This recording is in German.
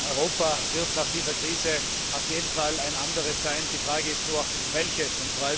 Europa wird nach dieser Krise auf jeden Fall ein anderes sein, die Frage ist nur Welches?